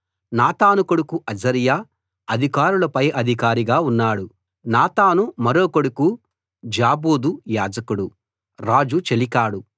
నాతాను కొడుకు అజర్యా అధికారుల పైఅధికారిగా ఉన్నాడు నాతాను మరో కొడుకు జాబూదు యాజకుడు రాజు చెలికాడు